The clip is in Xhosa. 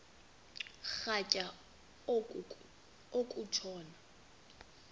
rhatya uku tshona